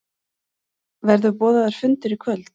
Verður boðaður fundur í kvöld?